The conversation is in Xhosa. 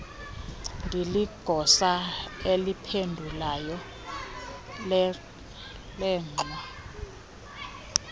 ndiligosa eliphendulayo lengxwa